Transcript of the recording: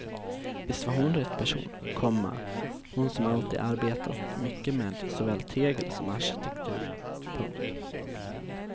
Visst var hon rätt person, komma hon som alltid arbetat mycket med såväl tegel som arkitektur. punkt